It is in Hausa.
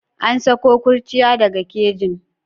An sako kurciya daga kejin.